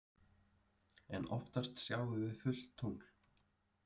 En oftast sjáum við fullt tungl.